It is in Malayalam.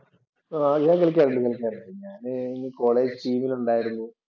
ആഹ് ഞാൻ കളിക്കാറുണ്ട് കളിക്കാറുണ്ട് ഞാനേ കോളേജ് ടീമില്‍ ഒണ്ടായിരുന്നു.